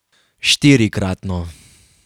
Štirikratno.